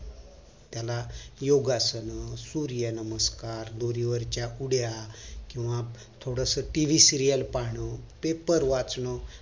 त्याला योगासन सूर्य नमस्कार दोरी वरच्या उड्डया केंव्हा थोडस TVserial पाहणं paper वाचन